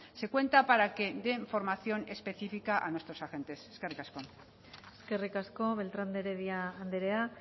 se cuenta para que den formación específica a nuestros agentes eskerrik asko eskerrik asko beltran de heredia andrea